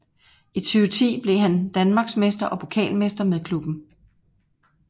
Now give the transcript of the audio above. I 2010 blev han Danmarksmester og pokalmester med klubben